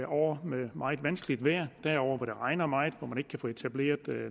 år med meget vanskeligt vejr der er år hvor det regner meget hvor man ikke kan få etableret